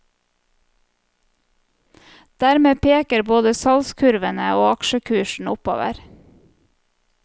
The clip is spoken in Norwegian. Dermed peker både salgskurvene og aksjekursen oppover.